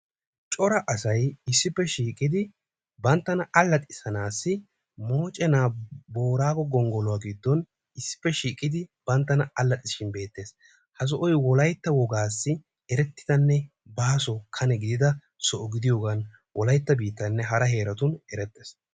Cora asay issipe shiiqidi banttaana allaxisanaasi moochenaa booraago gonggoluwaa giddon issipe shiiqqidi banttana allaxisishin be'ettees. ha soohoy wolaytta wogaasi erettidane baaso kane gidiyoogan wolaytta biittatuninne hara biittatun erettees.